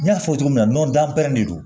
N y'a fɔ cogo min na nɔnɔ dan pɛrɛnnen don